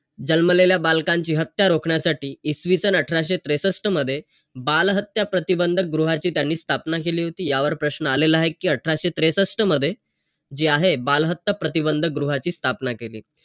जल्मलेल्या बालकांची हत्या रोखण्यासाठी इसवीसन अठराशे त्रेसष्ट मध्ये, बालहत्या प्रतिबंधक गृहाची त्यांनी स्थापना केली होती. यावर प्रश्न आलेला आहे कि अठराशे त्रेसष्ट मध्ये, जे आहे, बालहत्या प्रतिबंधक गृहाची स्थापना केली.